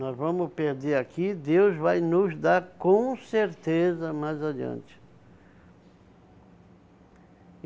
Nós vamos perder aqui, Deus vai nos dar com certeza mais adiante.